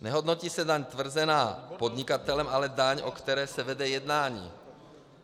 Nehodnotí se daň tvrzená podnikatelem, ale daň, o které se vede jednání.